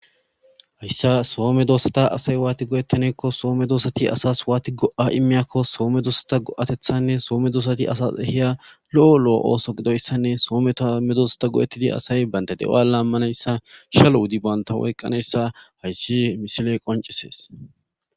Hyssaa soome doosata asay waati go7ettaneekko soome doosati asas waati go7a immiyakko soome doosata go7atethanne soome doosati asas ehiya lo7o lo7o ooso gidoyssanne soome tamme doosata go7ettidi asay banta de7oa laammanayssa shalo wudi banta woyqqanayssa hayssi misiley qoncisees.